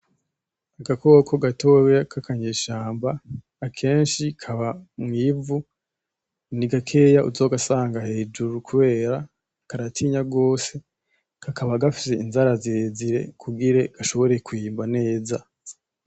Agakoko gatoya k'akanyeshamba, akenshi kaba mw'ivu, ni gakeya uzogasanga hejuru kubera karatinya gose, kakaba gafise inzara zire zire kugire gashobore kwimba neza.